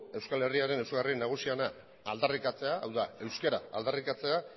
euskal herriaren ezaugarri nagusiena aldarrikatzea hau da euskara aldarrikatzea